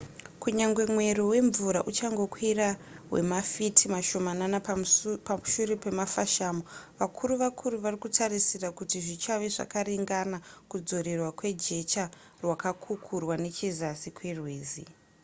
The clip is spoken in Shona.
kunyange mwero wemvura uchangokwira kwemafiti mashomanana pashure pemafashamo vakuru vakuru vari kutarisira kuti zvichave zvakaringanira kudzorerwa kwejecha rakakukurwa nechezasi kwerwizi